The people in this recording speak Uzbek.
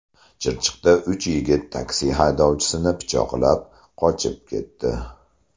Chirchiqda uch yigit taksi haydovchisini pichoqlab, qochib ketdi.